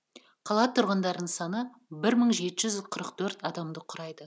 қала тұрғындарының саны бір мың жеті жүз қырық төрт адамды құрайды